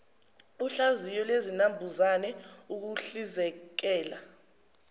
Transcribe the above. uhlaziyo lwezinambuzane ukuhlizekela